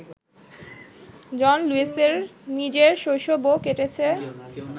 জন লুইসের নিজের শৈশবও কেটেছে